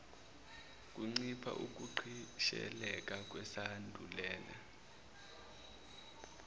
kuncipha ukugqisheleka kwesandulela